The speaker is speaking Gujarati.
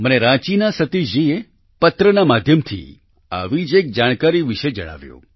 મને રાંચીના સતીશ જીએ પત્રના માધ્યમથી આવી જ વધુ એક જાણકારી વિશે જણાવ્યું